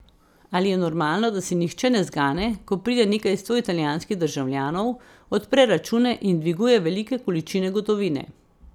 Ali je normalno, da se nihče ne zgane, ko pride nekaj sto italijanskih državljanov, odpre račune in dviguje velike količine gotovine?